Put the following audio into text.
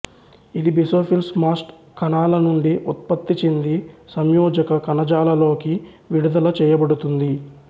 ఇది basophils mast కణాల నుండి ఉత్పత్తిచెంది సంయోజక కణజాలలోకి విడుదలచేయబడుతుంది